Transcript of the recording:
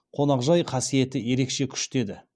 қонақжай қасиеті ерекше күшті еді